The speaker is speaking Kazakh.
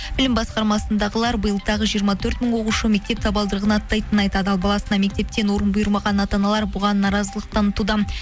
білім басқармасындағылар биыл тағы жиырма төрт мың оқушы мектеп табалдырығын аттайтынын айтады ал баласына мектептен орын бұйырмаған ата аналар бұған наразылық танытуда